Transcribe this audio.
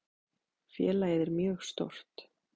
Félagið er mjög stórt.